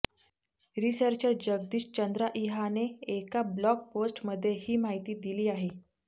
researcher Jagdish Chandraiah ने एका blog post मध्ये ही माहिती दिली आहे